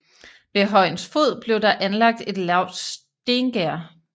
Ved højens fod blev der anlagt et lavt stengærde